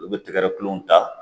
Olu bɛ tɛgɛ kulon ta